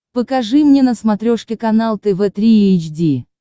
покажи мне на смотрешке канал тв три эйч ди